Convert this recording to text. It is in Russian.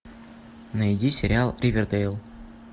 найди сериал ривердейл